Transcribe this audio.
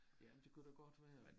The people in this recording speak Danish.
Ja men det kunne da godt være